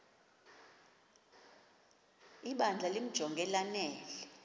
ibandla limjonge lanele